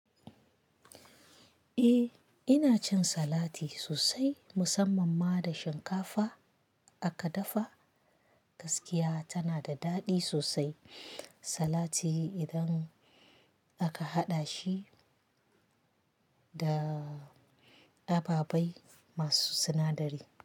Eh ina cin salati sosai musamman ma da shinkafa aka dafa gaskiya tana da daɗi sosai salati idan aka haɗa shi da ababai masu sinadari.